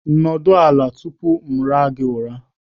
Nọdụ ala tupu m ara gị ụra!